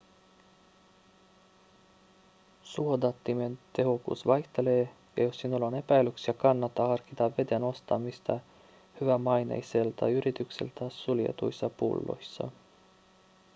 suodattimien tehokkuus vaihtelee ja jos sinulla on epäilyksiä kannattaa harkita veden ostamista hyvämaineiselta yritykseltä suljetuissa pulloissa